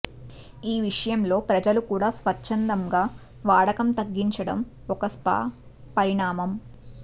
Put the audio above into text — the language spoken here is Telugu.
ఈ విషయంలో ప్రజలు కూడా స్వచ్చంధమ్గా వాడకం తగ్గించడం ఒక శ్భ పరిణామం